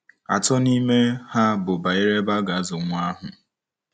Atọ n'ime ha bụ banyere ebe ha ga-azụ nwa ahụ.